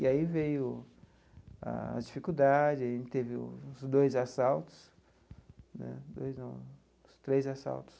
E aí veio as dificuldade, a gente teve uns dois assaltos né dois não, uns três assaltos.